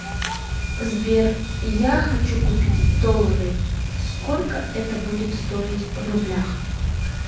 сбер я хочу купить доллары сколько это будет стоить в рублях